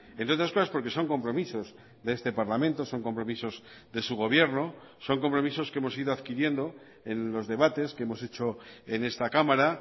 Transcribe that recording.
entre otras cosas porque son compromisos de este parlamento son compromisos de su gobierno son compromisos que hemos ido adquiriendo en los debates que hemos hecho en esta cámara